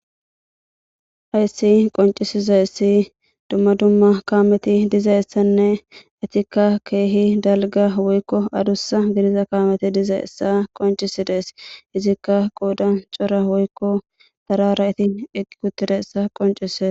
ayssi qoncisiza essi dumma dumma kaameti dizayessanne etikka keehi dalga woykko adussa bidiza kaameti diza essa qoncisi dees izikka quuda cora woykko tarara iti eqqi kuttiressa qoncise